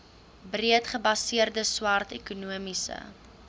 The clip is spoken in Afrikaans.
breedgebaseerde swart ekonomiese